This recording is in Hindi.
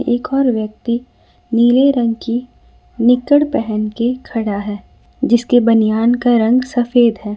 एक और व्यक्ति नीले रंग की निकर पहन के खड़ा है जिसके बनियान का रंग सफेद है।